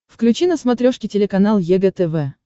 включи на смотрешке телеканал егэ тв